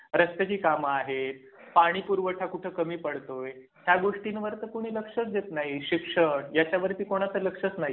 रस्त्याची काम आहे. पाणी पुरवठा कुठं कमी पडतोय या गोष्टीवर कुणी लक्षच देत नाही. शिक्षण ह्याच्यावरती कोणाचे लक्षच नाही.